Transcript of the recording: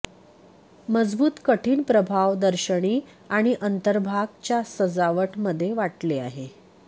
मजबूत कठीण प्रभाव दर्शनी आणि अंतर्भाग च्या सजावट मध्ये वाटले आहे